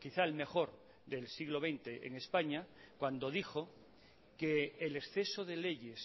quizá el mejor del siglo veinte en españa cuando dijo que el exceso de leyes